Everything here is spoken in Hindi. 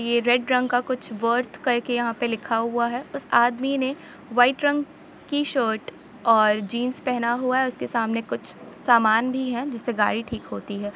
ये रेड रंग का कुछ वर्थ करके यहां पे लिखा हुआ है उस आदमी ने वाइट रंग की शर्ट और जींस पहना हुआ है उसके सामने कुछ सामान भी है जिसे गाड़ी ठीक होती है।